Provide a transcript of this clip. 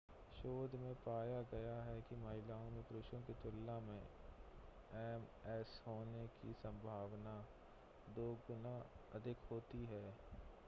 शोध में पाया गया है कि महिलाओं में पुरुषों की तुलना में एमएस होने की संभावना दो गुना अधिक होती है